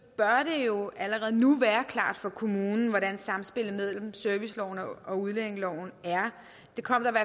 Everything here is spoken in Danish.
jo allerede nu være klart for kommunen hvordan samspillet mellem serviceloven og udlændingeloven er det kom